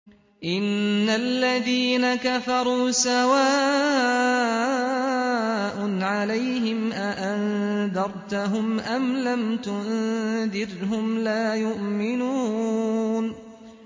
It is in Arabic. إِنَّ الَّذِينَ كَفَرُوا سَوَاءٌ عَلَيْهِمْ أَأَنذَرْتَهُمْ أَمْ لَمْ تُنذِرْهُمْ لَا يُؤْمِنُونَ